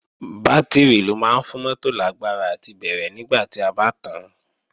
Bátìrì ló máa ń fún mótò lágbára àti bẹ̀rẹ̀ nígbà tí a bá tàán